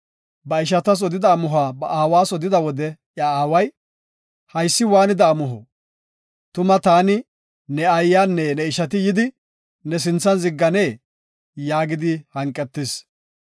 Ba ishatas odida amuhuwa ba aawas odida wode iya aaway, “Haysi waanida amuho? Tuma taani, ne aayanne ne ishati yidi, ne sinthan zigganeyee?” yaagidi hanqetis.